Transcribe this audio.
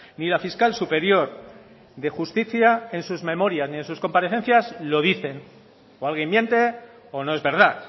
ni la fiscal superior de justicia en sus memorias ni en sus comparecencias lo dicen o alguien miente o no es verdad